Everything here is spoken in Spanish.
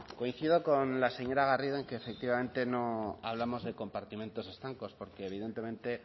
coincido con la señora garrido en que efectivamente no hablamos de compartimentos estancos porque evidentemente